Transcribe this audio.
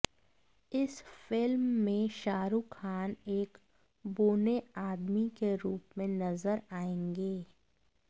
इस फिल्म में शाहरूख खान एक बौने आदमी के रूप में नजर आएंगे